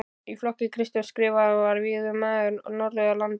Í flokki Kristjáns Skrifara var vígður maður norðan af landi.